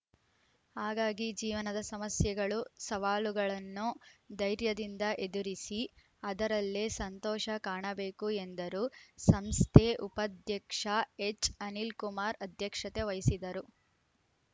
ಹಾಗಾಗಿ ಜೀವನದ ಸಮಸ್ಯೆಗಳು ಸವಾಲುಗಳನ್ನು ಧೈರ್ಯದಿಂದ ಎದುರಿಸಿ ಅದರಲ್ಲೇ ಸಂತೋಷ ಕಾಣಬೇಕು ಎಂದರು ಸಂಸ್ಥೆ ಉಪಾಧ್ಯಕ್ಷ ಎಚ್‌ಅನಿಲಕುಮಾರ್ ಅಧ್ಯಕ್ಷತೆ ವಹಿಸಿದ್ದರು